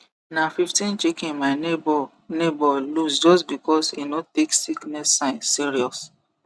na fifteen chicken my neighbour neighbour lose just because e no take sickness sign serious